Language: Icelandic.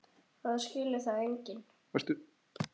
En það skilur það enginn.